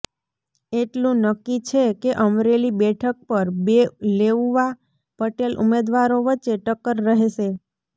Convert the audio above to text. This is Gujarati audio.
એટલું નક્કી છે કે અમરેલી બેઠક પર બે લેઉવા પટેલ ઉમેદવારો વચ્ચે ટક્કર રહેશે